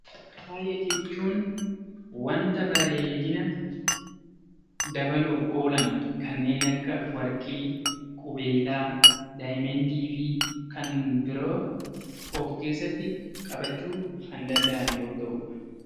Faaya jechuun wanta bareedina dabaluuf oolan kanneen akka warqee, qubeellaa, diyaamandii fi kan biroo of keessatti qabachuu danda'a